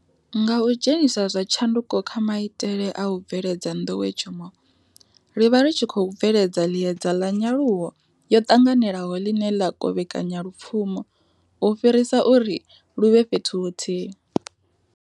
Nga u dzhenisa zwa tshanduko kha maitele a u bveledza nḓowetshumo, ri vha ri tshi khou bveledza ḽiedza ḽa nyaluwo yo ṱanganelaho ḽine ḽa kovhekanya lupfumo u fhirisa uri lu vhe fhethu huthihi.